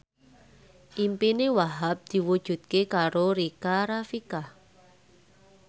impine Wahhab diwujudke karo Rika Rafika